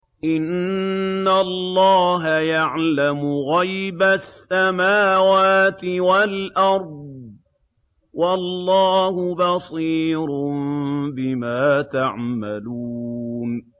إِنَّ اللَّهَ يَعْلَمُ غَيْبَ السَّمَاوَاتِ وَالْأَرْضِ ۚ وَاللَّهُ بَصِيرٌ بِمَا تَعْمَلُونَ